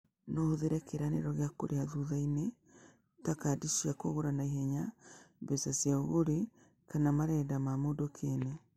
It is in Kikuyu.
No ũhũthĩre kĩĩranĩro gĩa kũrĩha thutha-inĩ, ta kadi cia kũgũra na ihenya, mbeca cia ũgũri, kana marenda ma mũndũ kĩene.